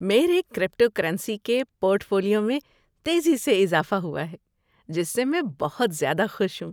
میرے کریپٹوکرنسی کے portfolio میں تیزی سے اضافہ ہوا ہے جس سے میں بہت زیادہ خوش ہوں۔